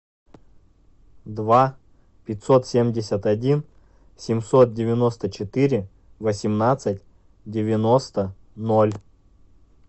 два пятьсот семьдесят один семьсот девяносто четыре восемнадцать девяносто ноль